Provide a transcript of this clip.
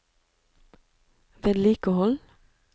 vedlikehold